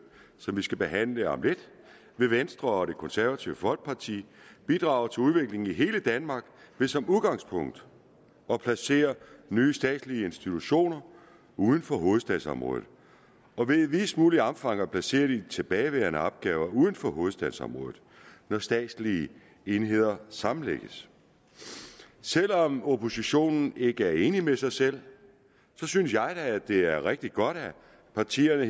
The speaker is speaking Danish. som vi skal behandle om lidt vil venstre og det konservative folkeparti bidrage til udviklingen i hele danmark ved som udgangspunkt at placere nye statslige institutioner uden for hovedstadsområdet og ved i videst muligt omfang at placere de tilbageværende opgaver uden for hovedstadsområdet når statslige enheder sammenlægges selv om oppositionen ikke er enig med sig selv synes jeg at det er rigtig godt at partierne